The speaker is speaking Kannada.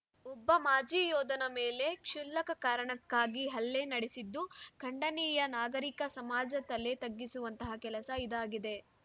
ಒಬ್ಬ ಮಾಜಿ ಯೋಧನ ಮೇಲೆ ಕ್ಷುಲ್ಲಕ ಕಾರಣಕ್ಕಾಗಿ ಹಲ್ಲೆ ನಡೆಸಿದ್ದು ಖಂಡನೀಯ ನಾಗರಿಕ ಸಮಾಜ ತಲೆ ತಗ್ಗಿಸುವಂತಹ ಕೆಲಸ ಇದಾಗಿದೆ